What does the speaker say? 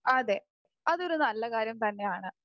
അതെ അതൊരു നല്ല കാര്യം തന്നെയാണ്.